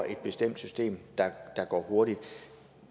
et bestemt system der går hurtigt